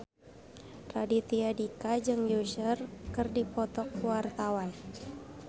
Raditya Dika jeung Usher keur dipoto ku wartawan